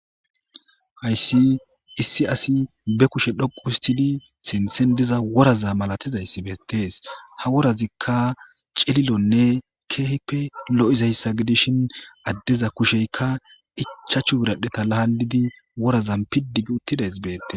hayssi issi asi be kushe dhoqu histidi sinthen diza woraza malatizayssi beettees ha worazikka celilonne keehipe lo'izayssa gidishin addeza kusheykka ichachu biradheta laalidi worazan piddi gi uttidays beette